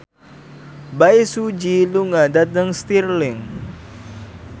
Bae Su Ji lunga dhateng Stirling